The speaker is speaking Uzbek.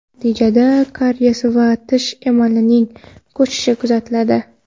Natijada kariyes va tish emalining ko‘chishi kuzatiladi.